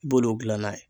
I b'olu gilanna ye